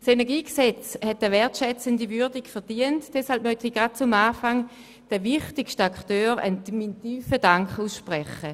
Doch es hat eine wertschätzende Würdigung verdient, und deshalb möchte ich gleich am Anfang den wichtigsten Akteuren meinen tiefen Dank aussprechen;